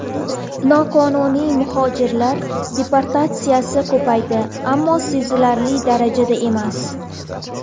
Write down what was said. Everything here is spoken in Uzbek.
Noqonuniy muhojirlar deportatsiyasi ko‘paydi, ammo sezilarli darajada emas.